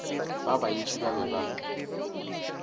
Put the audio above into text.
ba bantši ba be ba